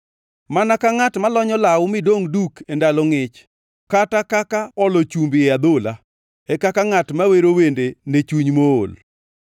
Mana ka ngʼat ma lonyo law midongʼ duk e ndalo ngʼich, kata kaka olo chumbi e adhola, e kaka ngʼat ma wero wende ne chuny mool.